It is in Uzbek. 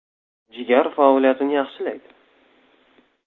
Jigar faoliyatini yaxshilaydi.